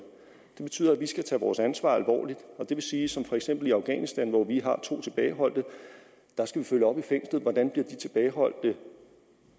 det betyder at vi skal tage vores ansvar alvorligt og det vil sige som for eksempel i afghanistan hvor vi har to tilbageholdte skal følge op på hvordan de tilbageholdte bliver